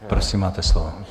Prosím, máte slovo.